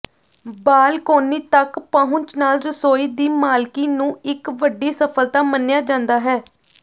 balcony ਤੱਕ ਪਹੁੰਚ ਨਾਲ ਰਸੋਈ ਦੀ ਮਾਲਕੀ ਨੂੰ ਇੱਕ ਵੱਡੀ ਸਫਲਤਾ ਮੰਨਿਆ ਜਾਂਦਾ ਹੈ